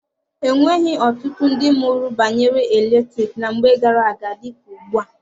E nweghị ọtụtụ ndị mụrụ banyere eletriki na mgbe gara-aga dịka ugbua.